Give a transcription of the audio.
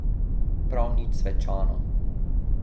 Prav nič svečano.